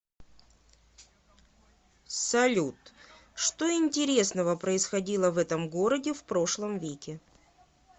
салют что интересного происходило в этом городе в прошлом веке